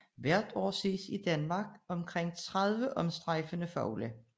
Hvert år ses i Danmark omkring 30 omstrejfende fugle